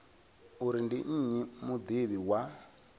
uri ndi nnyi mudivhi wa